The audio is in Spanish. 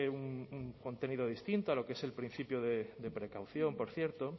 un contenido distinto a lo que es el principio de precaución por cierto